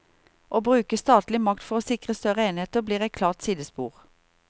Å bruke statlig makt for å sikre større enheter blir et klart sidespor.